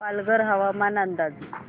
पालघर हवामान अंदाज